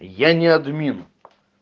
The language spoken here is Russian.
я не админ